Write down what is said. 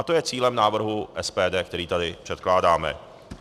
A to je cílem návrhu SPD, který tady předkládáme.